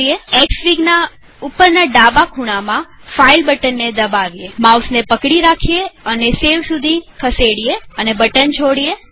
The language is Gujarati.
એક્સફીગના ઉપરના ડાબા ખૂણામાં ફાઈલ બટનને દબાવીએમાઉસને પકડી રાખો અને સેવ સુધી ખસેડો અને બટન છોડો